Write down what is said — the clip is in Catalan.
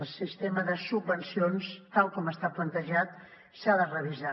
el sistema de subvencions tal com està plantejat s’ha de revisar